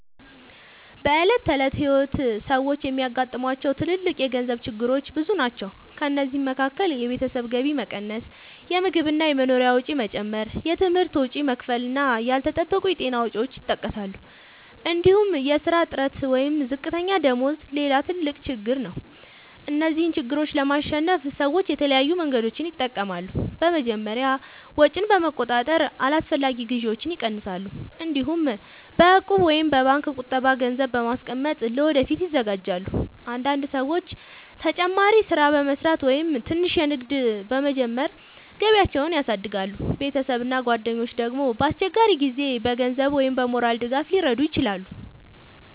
በዕለት ተዕለት ሕይወት ሰዎች የሚያጋጥሟቸው ትልልቅ የገንዘብ ችግሮች ብዙ ናቸው። ከእነዚህ መካከል የቤተሰብ ገቢ መቀነስ፣ የምግብ እና የመኖሪያ ወጪ መጨመር፣ የትምህርት ወጪ መክፈል እና ያልተጠበቁ የጤና ወጪዎች ይጠቀሳሉ። እንዲሁም የሥራ እጥረት ወይም ዝቅተኛ ደመወዝ ሌላ ትልቅ ችግር ነው። እነዚህን ችግሮች ለማሸነፍ ሰዎች የተለያዩ መንገዶችን ይጠቀማሉ። በመጀመሪያ ወጪን በመቆጣጠር አላስፈላጊ ግዢዎችን ይቀንሳሉ። እንዲሁም በእቁብ ወይም በባንክ ቁጠባ ገንዘብ በማስቀመጥ ለወደፊት ይዘጋጃሉ። አንዳንድ ሰዎች ተጨማሪ ሥራ በመስራት ወይም ትንሽ ንግድ በመጀመር ገቢያቸውን ያሳድጋሉ። ቤተሰብ እና ጓደኞች ደግሞ በአስቸጋሪ ጊዜ በገንዘብ ወይም በሞራል ድጋፍ ሊረዱ ይችላሉ።